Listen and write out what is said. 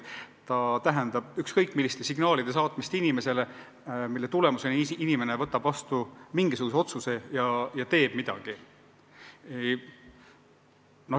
See tähendab ükskõik milliste signaalide saatmist inimesele, mille tulemusena inimene võtab vastu mingisuguse otsuse ja teeb midagi.